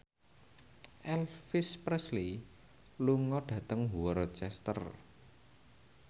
Elvis Presley lunga dhateng Worcester